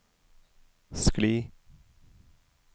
skli